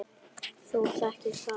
Þú þekkir það ekki!